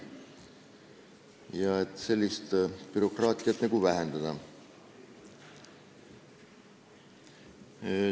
See on mõeldud selleks, et bürokraatiat vähendada.